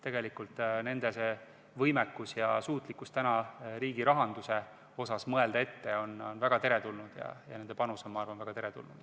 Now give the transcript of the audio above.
Nende võimekus, nende suutlikkus riigi rahanduse valdkonnas ette mõelda on väga teretulnud ja nende panus samuti.